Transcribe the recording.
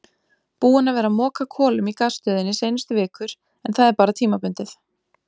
Búinn að vera að moka kolum í gasstöðinni seinustu vikur en það er bara tímabundið.